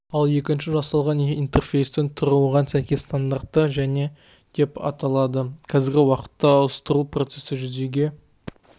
ал екінші жасалған интерфейстің түрі оған сәйкес стандарттар және деп аталады қазіргі уақытта ауыстырылу процесі жүзеге